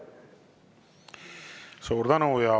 Suur tänu!